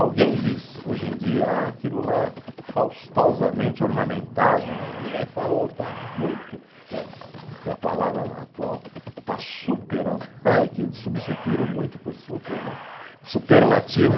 Alguém diz hoje em dia, ah aquilo lá faustosamente ornamentado né, ninguém fala, ô está muito, a palavra atual está superando, que substituíram muito por super, né, superlativo.